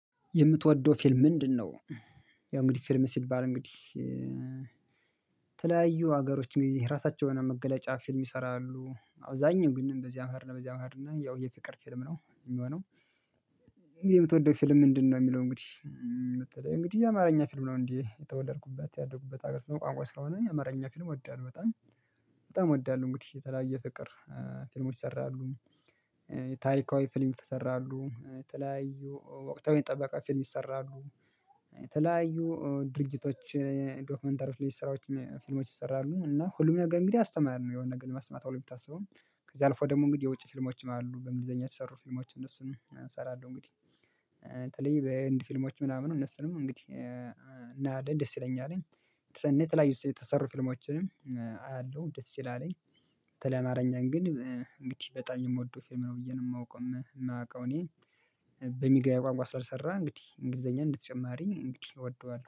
የምትወደው ፊልም ምንድነው? ያው እንግዲህ ፊልም ሲባል እንግዲህ የተለያዩ ሀገሮች እንግዲህ የራሳቸውን መገለጫ ፊልም ይሰራሉ አብዛኛው ግን በዚያም ሄድን በዚያም ሄድን ያው የፊቅር ፊልም ነው የሚሆነው። የምትወደው ፊልም ምንድነው? የሚለው እንግዲህ የምትለው እንግዲህ የአማርኛ ፊልም ነው እንዴ የተወለድኩበት ያደጉበት ሀገር ቋንቋ ስለሆነ የአማርኛ ፊልም እወዳለሁ በጣም በጣም እወዳለሁ። እንግዲህ የተለያየ ፍቅር ፊልም ይሰራሉ። ታሪካዊ ፊልሙ ይሰራሉ። የተለያዩ ወቅታዊ የጠበቀ ፊልሙ ይሰራሉ። የተለያዩ ድርጅቶች ዶክመንተሪ ስራዎች ፊልሞች ይሰራሉ እና ሁሉም ነገር እንግዲህ አስተማሪ ነው የሆነ ነገር ለማስተማር ትብሎ የሚታሰበው። ከዛ አልፎ ደግሞ እንግዲህ የውጪ ፊልሞችን አሉ በእንግሊዘኛ የተሰሩ ፊልሞች እነሱንም እሰራለሁ። እንግዲህ በህንድ ፊልሞች ምናምን እነሱንም እንግዲህ እናያለን ደስ ይለኛል። እኔ የተልርያዩ የተሰሩ ፊልሞችንም አያለሁ ደስ ይላልኝ። በተለይ አማርኛን ግን እንግዲህ በጣም የምወደው ፌም ነው ብዬ ነው የማውቀው። የማውቀው እኔ የተለያዩ ድርጅቶች ዶክመንተር ስራዎች ፊልሞች ይሰራሉ እና ሁሉም ነገር እንግዲህ አስተማሪ ነው የሆነ ነገር ለማስማት አልታሰብም። ከዛ አልፎ ደግሞ እንግዲህ የውጪ ፊልሞችን አሉ በእንግሊዘኛ የተሰሩ ፊልሞች እሰራለሁ እንግዲህ በህንድ ፊልሞች ምናምን እነሱንም እንግዲህ